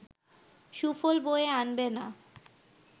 সুফল বয়ে আনবে না